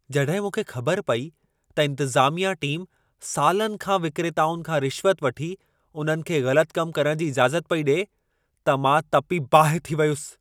जॾहिं मूंखे ख़बर पेई त इंतिज़ामिया टीमु सालनि खां विक्रेताउनि खां रिश्वत वठी उन्हनि खे ग़लति कम करण जी इजाज़त पेई ॾिए, त मां तपी बाहि थी पियुसि।